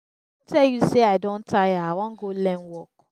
i don tell you say i don tire i wan go learn work